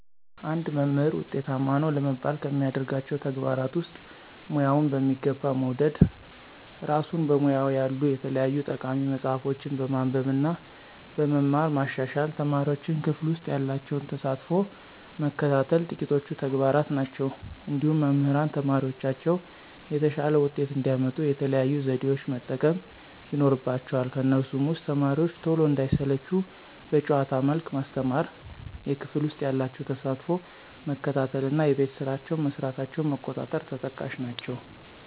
አንድ መምህር ውጤታማ ነው ለመባል ከሚያደርጋቸው ተግባራት ውስጥ፦ ሙያውን በሚገባ መውደድ፣ እራሱን በሙያው ያሉ የተለያዩ ጠቃሚ መፅሀፎችን በማንበብ እና በመማር ማሻሻል፣ ተማሪዎቹን ክፍል ውሰጥ ያላቸውን ተሳትፎ መከታተል ጥቂቶቹ ተግባራት ናቸው። እንዲሁም መምህራን ተማሪዎቻቸው የተሻለ ውጤት እንዲያመጡ የተለያዩ ዘዴዎችን መጠቀም ይኖርባቸዋል ከነሱም ውስጥ፦ ተማሪዎቹ ቶሎ እንዳይሰለቹ በጨዋታ መልክ ማስተማር፣ የክፍል ውስጥ ያላቸውን ተሳትፎ መከታተል እና የቤት ስራቸውን መስራታቸውን መቆጣጠር ተጠቃሽ ናቸው።